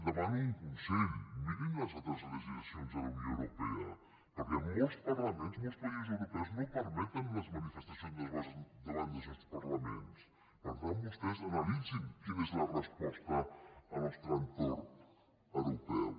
demano un consell mirin les altres legislacions de la unió europea perquè molts parlaments molts països europeus no permeten les manifestacions davant dels seus parlaments per tant vostès analitzin quina és la resposta al nostre entorn europeu